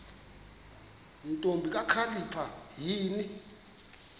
ntombi kakhalipha yini